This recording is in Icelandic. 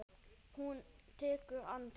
Hún tekur andköf.